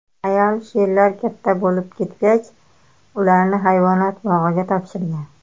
Ayol sherlar katta bo‘lib ketgach, ularni hayvonot bog‘iga topshirgan.